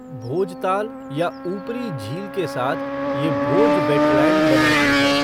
भोजताल या ऊपरी झील के साथ, ये भोज वेटलैंड बनाती है।